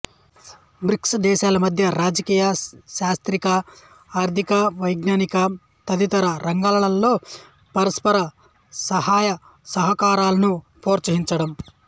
bricks దేశాల మధ్య రాజకీయ సాంస్కృతిక ఆర్థిక వైజ్ఞానిక తదితర రంగాల్లో పరస్పర సహాయ సహకారాలను ప్రోత్సహించడం